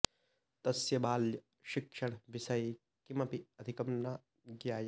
तस्य बाल्य शिक्षण विषये किमपि अधिकं न ज्ञायते